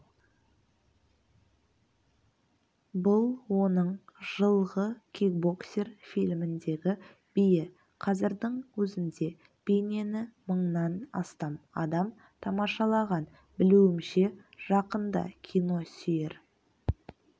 бұл оның жылғы кикбоксер фильміндегі биі қазірдің өзінде бейнені мыңнан астам адам тамашалаған білуімше жақында киносүйер